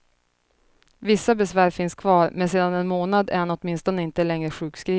Vissa besvär finns kvar, men sedan en månad är han åtminstone inte längre sjukskriven.